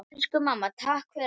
Elsku mamma. takk fyrir allt.